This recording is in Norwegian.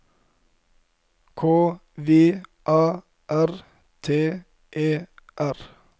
K V A R T E R